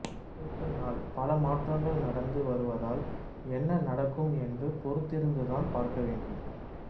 நாளுக்கு நாள் பல மாற்றங்கள் நடந்து வருவதால் என்ன நடக்கும் என்று பொறுத்திருந்து தான் பார்க்கவேண்டும்